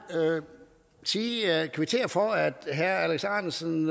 sige og kvittere for at herre alex ahrendtsen